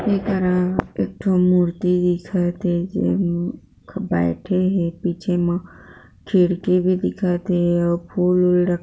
एकरा एक ठो मुर्ति दिखत थे जे मे बैठे हे पीछे मा खिड़की भी दिखत हे अउ फुल उल रखा